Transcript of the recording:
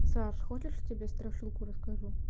саш хочешь я тебе страшилку расскажу